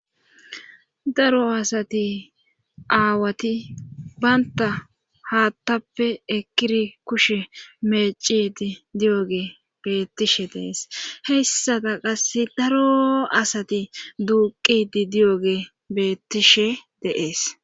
Daro asati aawati baynta haattappe ekiri kushe mecidi di7oge beettishe dees heyssata qasse daro asati duuqidi di7oge beettishe deees